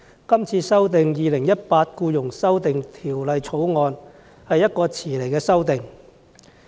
代理主席，《2018年僱傭條例草案》是遲來的修訂。